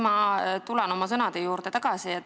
Ma tulen oma sõnade juurde tagasi.